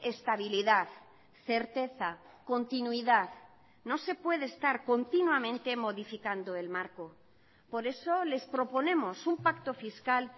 estabilidad certeza continuidad no se puede estar continuamente modificando el marco por eso les proponemos un pacto fiscal